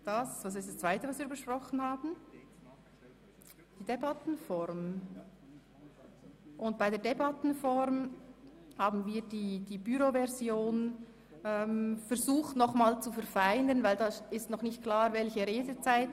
Was die Debattenform anbelangt, haben wir die Büroversion zu verfeinern versucht, weil noch nicht klar ist, welche Redezeiten gelten.